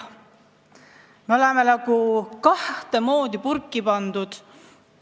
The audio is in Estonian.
Me oleme nagu kahte moodi purki pandud.